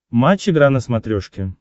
матч игра на смотрешке